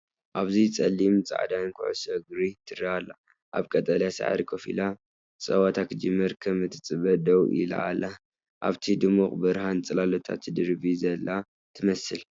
ኣብዚ ጸሊምን ጻዕዳን ኩዕሶ እግሪ ትረአ ኣላ። ኣብ ቀጠልያ ሳዕሪ ኮፍ ኢላ፡ ጸወታ ክጅምር ከም እትጽበ ደው ኢላ ኣላ፡ ኣብቲ ድሙቕ ብርሃን ጽላላታ ትድርቢ ዘላ ትመስል።